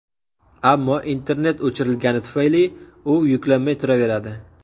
Ammo internet o‘chirilgani tufayli, u yuklanmay turaveradi.